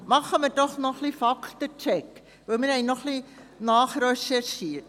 Machen wir doch einen Faktencheck, denn wir haben noch ein wenig nachrecherchiert.